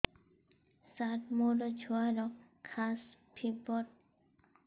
ସାର ମୋର ଛୁଆର ଖାସ ଓ ଫିବର ହଉଚି ମେଡିସିନ ଦିଅନ୍ତୁ